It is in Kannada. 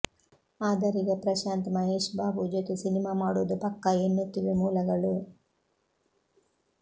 ಆದರೀಗ ಪ್ರಶಾಂತ್ ಮಹೇಶ್ ಬಾಬು ಜೊತೆ ಸಿನಿಮಾ ಮಾಡುವುದು ಪಕ್ಕಾ ಎನ್ನುತ್ತಿವೆ ಮೂಲಗಳು